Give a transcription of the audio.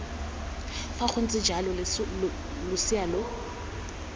fa gontse jalo losea lo